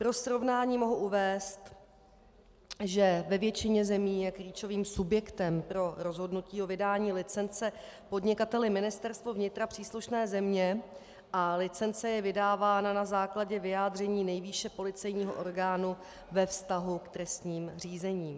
Pro srovnání mohu uvést, že ve většině zemí je klíčovým subjektem pro rozhodnutí o vydání licence podnikateli Ministerstvo vnitra příslušné země a licence je vydávána na základě vyjádření nejvýše policejního orgánu ve vztahu k trestním řízením.